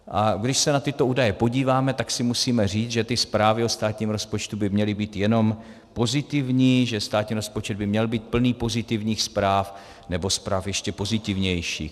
A když se na tyto údaje podíváme, tak si musíme říct, že ty zprávy o státním rozpočtu by měly být jenom pozitivní, že státní rozpočet by měl být plný pozitivních zpráv, nebo zpráv ještě pozitivnějších.